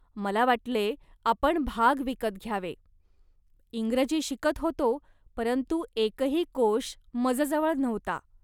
मला वाटले, "आपण भाग विकत घ्यावे. इंग्रजी शिकत होतो, परंतु एकही कोश मजजवळ नव्हता